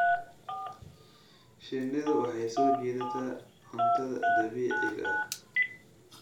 Shinnidu waxay soo jiidataa cuntada dabiiciga ah.